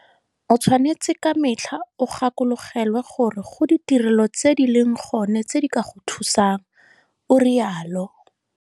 O tshwanetse ka metlha o gakologelwe gore go ditirelo tse di leng gone tse di ka go thusang, o rialo.